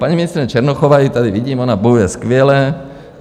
Paní ministryně Černochová - ji tady vidím - ona bojuje skvěle.